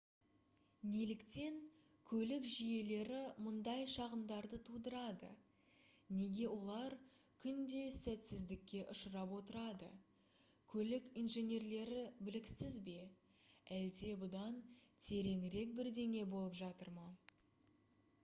неліктен көлік жүйелері мұндай шағымдарды тудырады неге олар күнде сәтсіздікке ұшырап отырады көлік инженерлері біліксіз бе әлде бұдан тереңірек бірдеңе болып жатыр ма